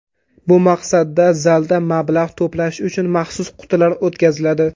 Bu maqsadda zalda mablag‘ to‘plash uchun maxsus qutilar o‘tkaziladi.